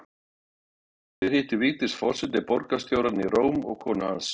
Hér hittir Vigdís forseti borgarstjórann í Róm og konu hans